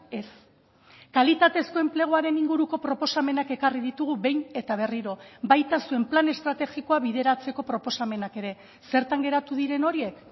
ez kalitatezko enpleguaren inguruko proposamenak ekarri ditugu behin eta berriro baita zuen plan estrategikoa bideratzeko proposamenak ere zertan geratu diren horiek